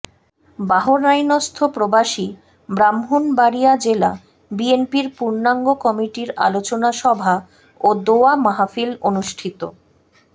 বাহরাইনস্থ্য প্রবাসী ব্রাহ্মনবাড়ীয়া জেলা বিএনপির পূর্ণাঙ্গ কমিটির আলোচনা সভা ও দোয়া মাহফিল অনুষ্ঠিত